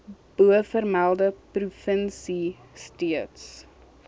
bovermelde provinsie steeds